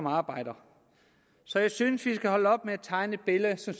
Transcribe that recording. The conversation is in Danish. arbejder så jeg synes at vi skal holde op med at tegne et billede som